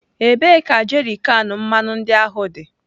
Ebee ka jerrykan mmanụ ndị ahụ dị?